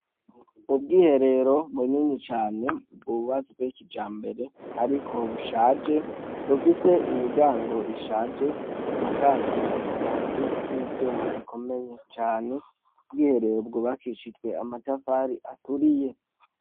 Ubwiherero bunini cane bwubatswe kijambere ariko bushaje, bufise imiryago ishaje busakajwe amabati n'ivyuma bikomeye cane, ubwiherero bwubakishijwe amatafari aturiye.